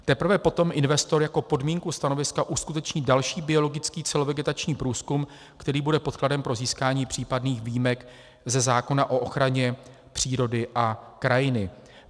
Teprve potom investor jako podmínku stanoviska uskuteční další biologický celovegetační průzkum, který bude podkladem pro získání případných výjimek ze zákona o ochraně přírody a krajiny.